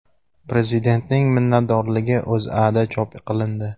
Prezidentning minnatdorligi O‘zAda chop qilindi .